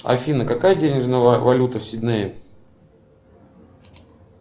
афина какая денежная валюта в сиднее